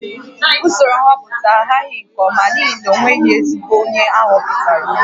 Usoro nhọpụta ahaghị nke ọma n'ihi na o nweghị ezigbo onye a họpụtara